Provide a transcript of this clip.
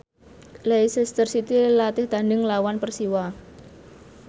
Leicester City latih tandhing nglawan Persiwa